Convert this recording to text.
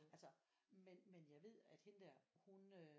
Altså men men jeg ved at hende der hun øh